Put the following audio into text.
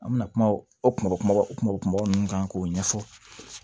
An bɛna kuma o kuma kumaba o kun b'o kuma kuma minnu kan k'o ɲɛfɔ